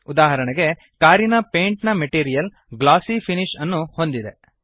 ಉದಾಹರಣೆಗೆ ಕಾರಿನ ಪೇಂಟ್ ನ ಮೆಟೀರಿಯಲ್ ಗ್ಲಾಸೀ ಫಿನಿಶ್ ಅನ್ನು ಹೊಂದಿದೆ